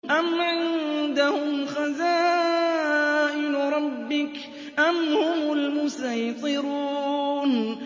أَمْ عِندَهُمْ خَزَائِنُ رَبِّكَ أَمْ هُمُ الْمُصَيْطِرُونَ